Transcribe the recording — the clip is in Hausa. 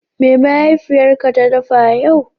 Me mahaifiyarka ta dafa yau?